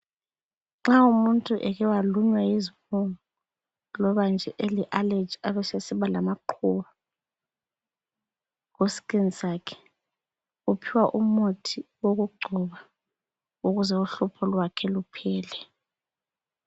Nxa umuntu eke walunywa yizibungu lobanje eleallergy abesesiba lamaqubu ku skin sakhe. Uphiwa umuthi wokugcoba ukuze uhlupho lwakhe luphele .